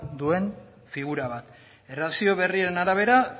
duen figura bat erlazio berrien arabera